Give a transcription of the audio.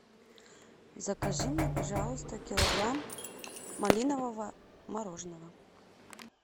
закажи мне пожалуйста килограмм малинового мороженого